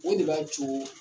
O de b'a co